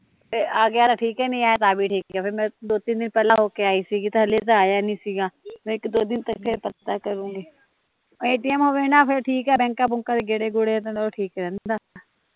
ਜੇ ਆਗਿਆ ਤਾਂ ਠੀਕ ਐ ਨਹੀਂ ਆਇਆ ਤਾਂ ਵੀ ਠੀਕ ਐ ਫਿਰ ਮੈਂ ਦੋ ਤਿੰਨ ਦਿਨ ਪਹਿਲਾਂ ਹੋ ਕੇ ਆਈ ਸੀ ਤਾਂ ਹਲੇ ਤਾਂ ਆਇਆ ਨੀ ਸੀਗਾ ਮੈਂ ਇੱਕ ਦੋ ਦਿਨ ਤੱਕ ਫੇਰ ਪਤਾ ਕਰੁਗੀ ਐਟੀਐਮ ਹੋਵੇ ਨਾ ਫੇਰ ਠੀਕ ਐ ਬੈਂਕਾਂ ਬੂਕਾਂ ਦੇ ਗੇੜੇ ਗੇੜਿਆ ਨਾਲੋਂ ਠੀਕ ਰਹਿੰਦਾ